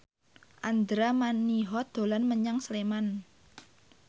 Andra Manihot dolan menyang Sleman